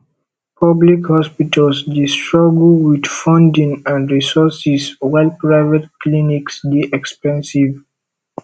public hospitals dey struggle with funding and resources while private clinics dey expensive